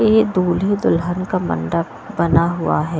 यह दूल्हे दुल्हन का मंडप बना हुआ है।